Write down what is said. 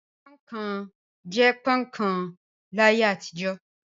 Pọ́ń-ọ̀n kan' jẹ́ pọ́ń-ọ̀n kan láyé àtijọ́.